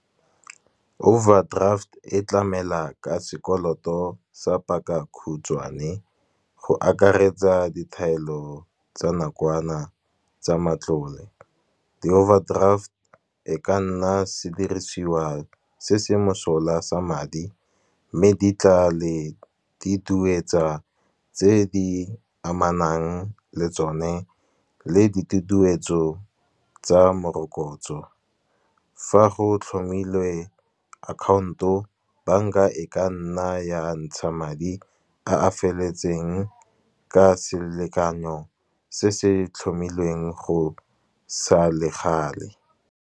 Overdraft e tlamela ka sekoloto sa paka khutshwane, go akaretsa dithaelo tsa nakwana tsa matlole. Di-overdraft e ka nna sedirisiwa se se mosola sa madi, mme di tla le tse di amanang le tsone. Ke ditutuetso tsa morokotso, fa go tlhomilwe account-o bank-a e ka nna ya ntsha madi a a feleletseng ka selekanyo se se tlhomilweng go sa le gale.